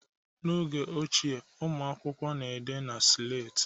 N'oge ochie, ụmụ akwụkwọ na-ede na slate